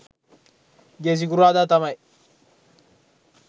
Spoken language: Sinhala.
ගිය සිකුරාදා තමයි